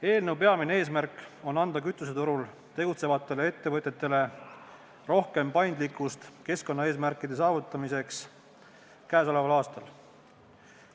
Selle peamine eesmärk on anda kütuseturul tegutsevatele ettevõtjatele rohkem paindlikkust keskkonnaeesmärkide saavutamiseks käesoleval aastal.